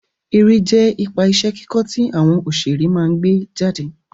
Eré jẹ́ ipa iṣẹ́ kíkọ́ tí àwọn òṣeré máa gbé jáde